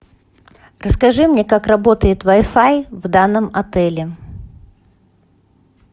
расскажи мне как работает вай фай в данном отеле